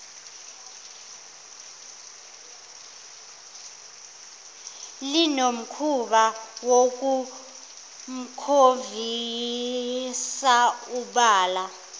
linomkhuba wokumshovisa ubala